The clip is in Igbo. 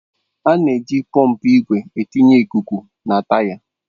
A na-eji pọmpụ igwe etinye ikuku na taya.